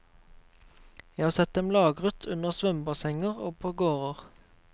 Jeg har sett dem lagret under svømmebassenger og på gårder.